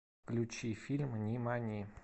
включи фильм нимани